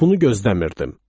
Bunu gözləmirdim.